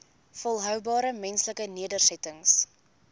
volhoubare menslike nedersettings